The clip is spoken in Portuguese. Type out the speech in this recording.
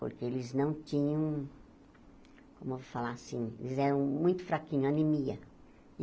Porque eles não tinham, como eu vou falar assim, eles eram muito fraquinhos, anemia.